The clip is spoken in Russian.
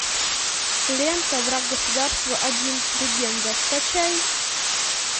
лента враг государства один легенда скачай